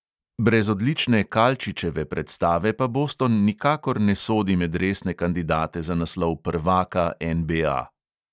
Brez odlične kalčičeve predstave pa boston nikakor ne sodi med resne kandidate za naslov prvaka NBA.